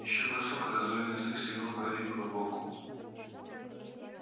ещё бросок и раздвоенный язык стегнул гарри по боку